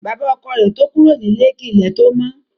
Bàbá ọkọ rẹ̀ to kúrò nílé kí ilẹ̀ tó mọ́